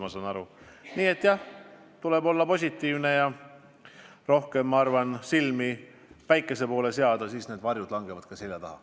Aga jah, tuleb olla positiivne ja rohkem silmi päikese poole seada, siis varjud langevad selja taha.